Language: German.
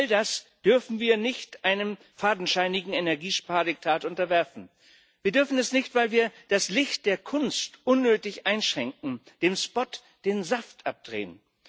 All das dürfen wir nicht einem fadenscheinigen Energiespardiktat unterwerfen. Wir dürfen es nicht, weil wir das Licht der Kunst unnötig einschränken, dem Spot den Saft abdrehen.